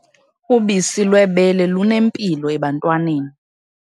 Ubisi lwebele lunempilo ebantwaneni.